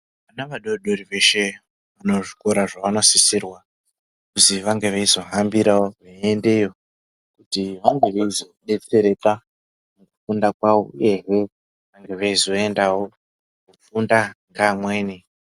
Vana vadodori veshe kune zvikora zvavanosisirwa kuzi vange veizohambirawo veiendawo kuti vange veizodetsereka kufenda kwavo ehe vange veizondawo kufunda kweamweni.